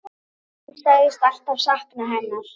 Hún sagðist alltaf sakna hennar.